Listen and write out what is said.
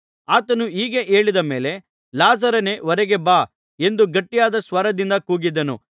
ಆತನು ಹೀಗೆ ಹೇಳಿದ ಮೇಲೆ ಲಾಜರನೇ ಹೊರಗೆ ಬಾ ಎಂದು ಗಟ್ಟಿಯಾದ ಸ್ವರದಿಂದ ಕೂಗಿದನು